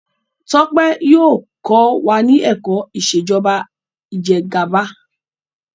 Tope yíò kọ wá ní èkó Ìṣèjọba Ìjẹgàba.